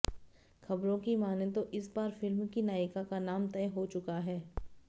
खबरों की मानें तो इस बार फिल्म की नायिका का नाम तय हो चुका है